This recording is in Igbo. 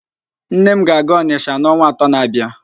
Nne m ga-aga Ọnịsha n'ọnwa atọ na-abịa